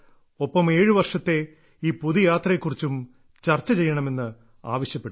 ഒപ്പം ഏഴു വർഷത്തെ ഞങ്ങളുടെ ഈ പൊതു യാത്രയെക്കുറിച്ചും ചർച്ച ചെയ്യണമെന്ന് ആവശ്യപ്പെട്ടു